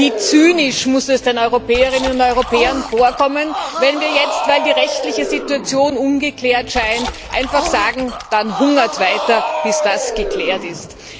Wie zynisch muss es den Europäerinnen und Europäern vorkommen, wenn wir jetzt, weil die rechtliche Situation ungeklärt scheint, einfach sagen Dann hungert weiter, bis das geklärt ist.